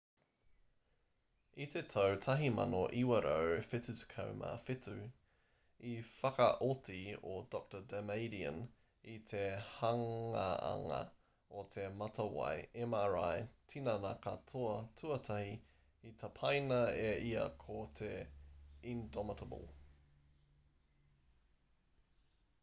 i te tau 1977 i whakaoti a dr damadian i te hanganga o te matawai mri tinana-katoa tuatahi i tapaina e ia ko te indomitable